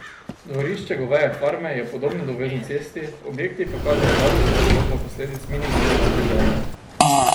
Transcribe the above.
Dvorišče goveje farme je podobno dovozni cesti, objekti pa kažejo žalostno podobo posledic minimalnega vzdrževanja.